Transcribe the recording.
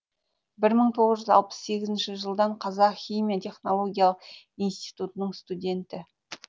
бір мың тоғыз жүз алпыс сегізінші жылдан қазақ химия технологиялық институтының студенті